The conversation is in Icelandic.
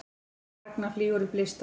Ragna flýgur upp listann